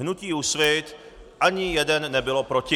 Hnutí Úsvit ani jednou nebylo proti.